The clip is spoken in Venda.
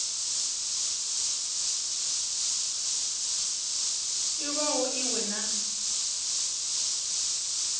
i walo i we na